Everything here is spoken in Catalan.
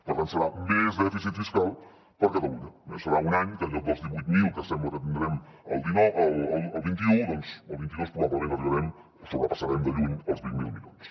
per tant serà més dèficit fiscal per a catalunya eh serà un any que en lloc dels divuit mil que sembla que tindrem el vint un doncs el vint dos probablement arribarem o sobrepassarem de lluny els vint miler milions